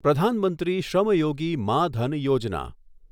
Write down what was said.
પ્રધાન મંત્રી શ્રમ યોગી માં ધન યોજના